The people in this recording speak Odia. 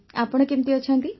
ଆପଣ କେମିତି ଅଛନ୍ତି